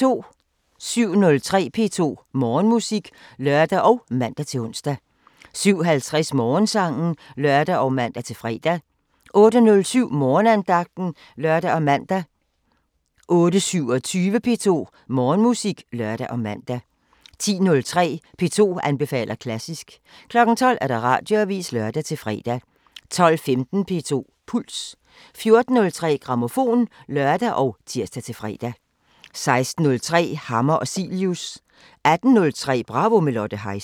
07:03: P2 Morgenmusik (lør og man-ons) 07:50: Morgensangen (lør og man-fre) 08:07: Morgenandagten (lør og man) 08:27: P2 Morgenmusik (lør og man) 10:03: P2 anbefaler klassisk 12:00: Radioavisen (lør-fre) 12:15: P2 Puls 14:03: Grammofon (lør og tir-fre) 16:03: Hammer og Cilius 18:03: Bravo – med Lotte Heise